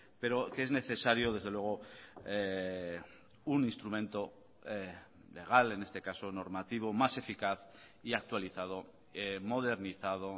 pero que es necesario desde luego un instrumento legal en este caso normativo más eficaz y actualizado modernizado